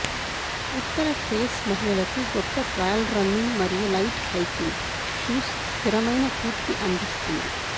ఉత్తర face మహిళలకు గొప్ప trail running మరియు లైట్ హైకింగ్ షూస్ స్థిరమైన పూర్తి అందిస్తుంది